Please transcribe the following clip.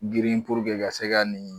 Girin ka se ka nin